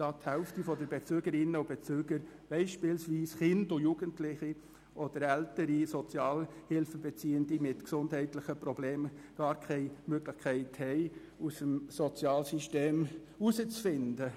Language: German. Denn die Hälfte der Bezügerinnen und Bezüger, beispielsweise Kinder und Jugendliche oder ältere Sozialhilfebeziehende mit gesundheitlichen Problemen, hätten keine Möglichkeit, aus dem Sozialsystem herauszufinden.